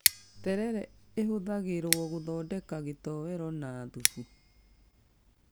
Terere ĩhũthagirwo gũthondeka gitowero na thubu